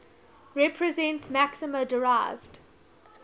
represents maxima derived